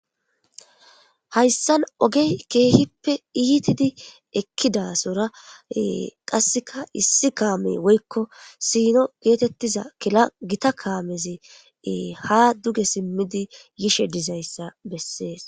Hayssan ogey keehippe iitidi ekkidasora qasseka issi kaame woykko siino geetettiza kila gita kaamezi ha duge simmidi yishe dizayssa bessees